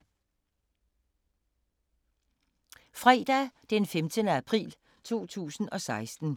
Fredag d. 15. april 2016